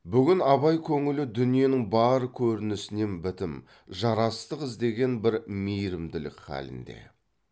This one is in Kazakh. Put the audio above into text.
бүгін абай көңілі дүниенің бар көрінісінен бітім жарастық іздеген бір мейрімділік халінде